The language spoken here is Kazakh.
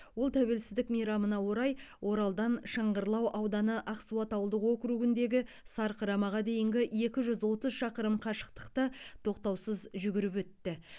ол тәуелсіздік мейрамына орай оралдан шыңғырлау ауданы ақсуат ауылдық округіндегі сарқырамаға дейінгі екі жүз отыз шақырым қашықтықты тоқтаусыз жүгіріп өтті